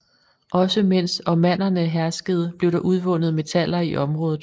Også mens osmannerne herskede blev der udvundet metaller i området